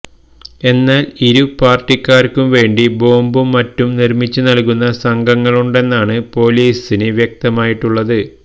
എന്നാല് ഇരുപാര്ട്ടിക്കാര്ക്കും വേണ്ടി ബോംബും മറ്റും നിര്മിച്ചുനല്കുന്ന സംഘങ്ങളുണ്ടെന്നാണ് പൊലീസിന് വ്യക്തമായിട്ടുള്ളത്